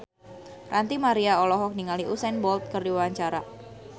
Ranty Maria olohok ningali Usain Bolt keur diwawancara